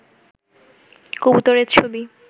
কবুতরের ছবি